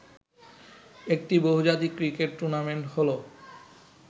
একটি বহুজাতিক cricket tournament হলো